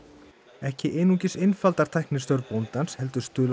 ekki einungis einfaldar tæknin störf bóndans heldur stuðlar